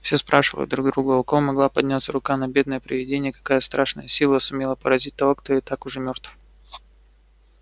все спрашивали друг друга у кого могла подняться рука на бедное привидение какая страшная сила сумела поразить того кто и так уже мёртв